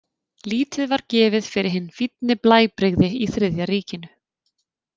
Lítið var gefið fyrir hin fínni blæbrigði í Þriðja ríkinu.